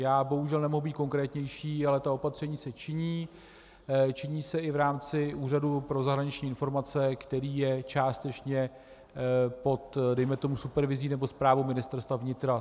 Já bohužel nemohu být konkrétnější, ale ta opatření se činí, činí se i v rámci Úřadu pro zahraniční informace, který je částečně pod, dejme tomu, supervizí nebo správou Ministerstva vnitra.